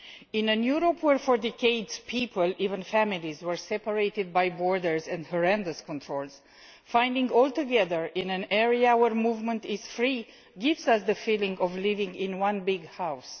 In a Europe where for decades people, even families, were separated by borders and horrendous controls, finding ourselves all together in an area where movement is free gives us the feeling of living in one big house.